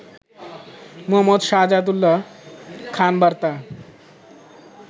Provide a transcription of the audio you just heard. মো. সাহাদাত উল্যা খান বার্তা